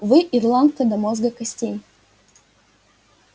вы ирландка до мозга костей